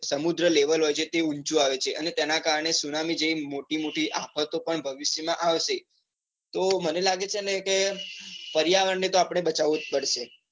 સમુદ્ર લેવલ હોય છે એ ઊંચું આવે છે. અને તેના કારણે ત્સુનામી જેવી મોટી મોટી આફતો ભવિષ્ય માં આવશે તો મને લાગે છે કે પર્યાવરણ ને તો આપડ ને બચાવવું જ પડશે.